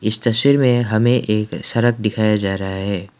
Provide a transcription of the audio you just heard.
इस तस्वीर में हमें एक सड़क दिखाया जा रहा है।